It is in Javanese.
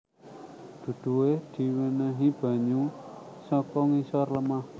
Duduhe diwenehi banyu saka ngisor lemah